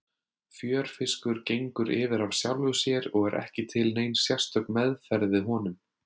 Fjörfiskur gengur yfir af sjálfu sér og ekki er til nein sérstök meðferð við honum.